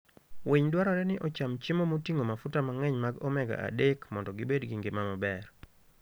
Winy dwarore ni ocham chiemo moting'o mafuta mang'eny mag omega-3 mondo gibed gi ngima maber.